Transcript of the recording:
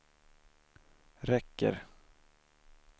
räcker